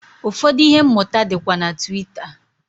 Ụfọdụ ihe mmụta dịkwa na Twitter.